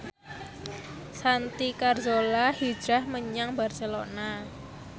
Santi Carzola hijrah menyang Barcelona